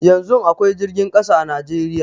Yanzun akwai jirgin ƙasa a Najeriya